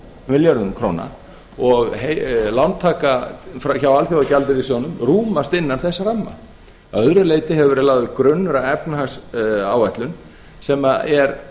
milljörðum króna og lántaka hjá alþjóðagjaldeyrissjóðnum rúmast innan þess ramma að öðru leyti hefur verið lagður grunnur að efnahagsáætlun sem er